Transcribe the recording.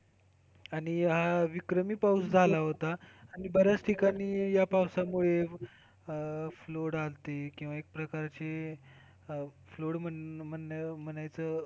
आणि हा विक्रमी पाऊस झाला होता. आणि बऱ्याच ठिकाणी या पावसामुळे flood आलती किंवा एक प्रकारचे flood म्हण म्हणायचं.